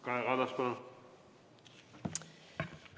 Kaja Kallas, palun!